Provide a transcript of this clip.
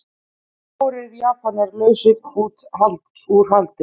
Fjórir Japanar lausir út haldi